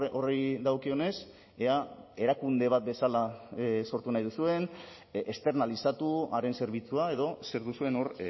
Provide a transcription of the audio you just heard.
horri dagokionez ea erakunde bat bezala sortu nahi duzuen esternalizatu haren zerbitzua edo zer duzuen hor